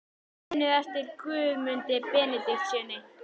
Muniði eftir Guðmundi Benediktssyni?